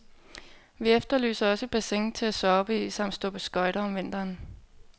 Vi efterlyser også et bassin til at soppe i samt stå på skøjter om vinteren.